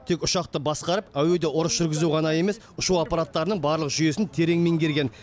тек ұшақты басқарып әуеде ұрыс жүргізу ғана емес ұшу аппараттарының барлық жүйесін терең меңгерген